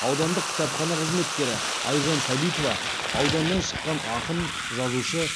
аудандық кітапхана қызметкері айжан сәбитова ауданнан шыққан ақын жазушы